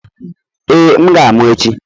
Ee, m ga-amụ echi.